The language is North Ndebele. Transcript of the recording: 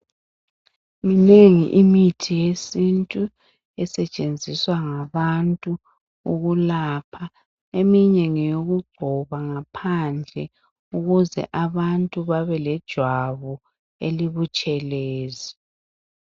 Minengi imithi yesintu esentshenziswa ngabantu ukulapha. Eminye ngeyokugcoba ngaphandle ukuze abantu babelejwabu elibutshelezi.